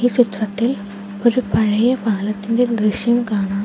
ചിത്രത്തിൽ ഒരു പഴയ പാലത്തിൻ്റെ ദൃശ്യം കാണാം.